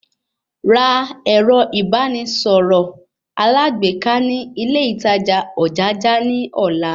Ra ẹ̀rọ ìbánisọ̀rọ̀ alágbèéká ní ilé ìtajà Ojaja ní ọ̀la